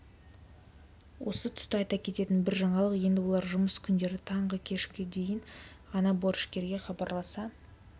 осы тұста айта кететін бір жаңалық енді олар жұмыс күндері таңғы кешкі дейін ғана борышкерге хабарласа